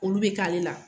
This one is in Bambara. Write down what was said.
Olu bɛ k'ale la